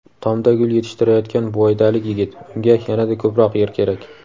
Tomda gul yetishtirayotgan buvaydalik yigit: unga yanada ko‘proq yer kerak.